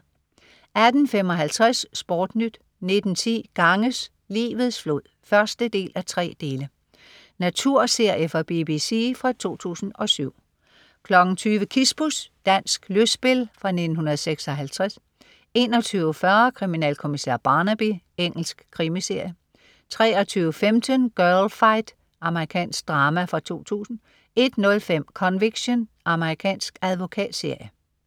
18.55 SportNyt 19.10 Ganges, livets flod 1:3. Naturserie fra BBC fra 2007 20.00 Kispus. Dansk lystspil fra 1956 21.40 Kriminalkommissær Barnaby. Engelsk krimiserie 23.15 Girlfight. Amerikansk drama fra 2000 01.05 Conviction. Amerikansk advokatserie